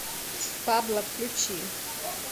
пабло включи